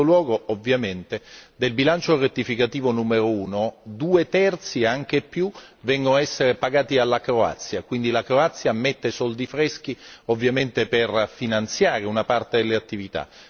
In secondo luogo, del bilancio rettificativo numero 1, due terzi e anche più vengono a essere pagati dalla Croazia, quindi la Croazia mette soldi freschi, ovviamente per finanziare una parte delle attività.